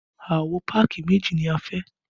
Àwo páàkì méjì ni a fẹ́